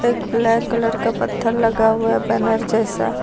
एक black colour का पत्थर लगा हुआ बैनर जैसा--